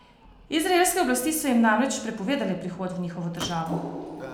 Izraelske oblasti so jim namreč prepovedale prihod v njihovo državo.